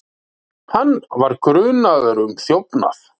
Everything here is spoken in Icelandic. Hann var grunaður um þjófnað.